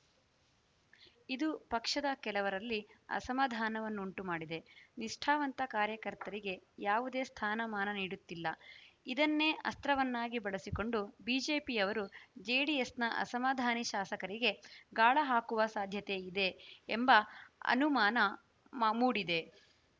ಇದು ಪಕ್ಷದ ಕೆಲವರಲ್ಲಿ ಅಸಮಾಧಾನವನ್ನುಂಟು ಮಾಡಿದೆ ನಿಷ್ಠಾವಂತ ಕಾರ್ಯಕರ್ತರಿಗೆ ಯಾವುದೇ ಸ್ಥಾನಮಾನ ನೀಡುತ್ತಿಲ್ಲ ಇದನ್ನೇ ಅಸ್ತ್ರವನ್ನಾಗಿ ಬಳಸಿಕೊಂಡು ಬಿಜೆಪಿಯವರು ಜೆಡಿಎಸ್‌ನ ಅಸಮಾಧಾನಿ ಶಾಸಕರಿಗೆ ಗಾಳ ಹಾಕುವ ಸಾಧ್ಯತೆ ಇದೆ ಎಂಬ ಅನುಮಾನ ಮೂಡಿದೆ